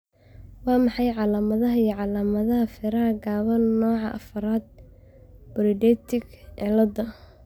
Waa maxay calaamadaha iyo calaamadaha feeraha gaaban nooca afraad polydactyly cilada?